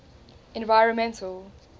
environmental